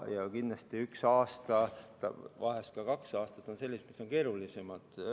Kindlasti on üks aasta, vahel ka kaks aastat sellised keerulisemad.